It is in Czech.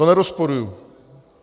To nerozporuji.